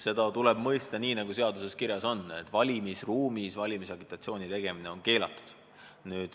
Seda tuleb mõista nii, nagu seaduses on kirjas: valimisruumis on valimisagitatsiooni tegemine keelatud.